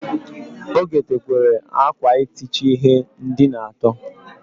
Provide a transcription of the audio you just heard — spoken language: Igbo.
O gotekwere akwa itichi ihe ndina ato.